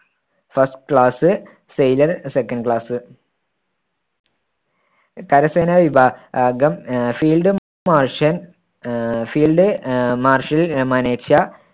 first class, sailor second class കരസേന വിഭാ~ഗം ah field ah field ah marshal